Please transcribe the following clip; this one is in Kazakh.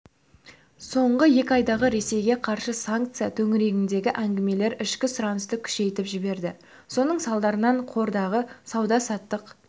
соңғы екі айдағы ресейге қарсы санкция төңірігендегі әңгімелер ішкі сұранысты күшейтіп жіберді соның салдарынан қордағы сауда-саттық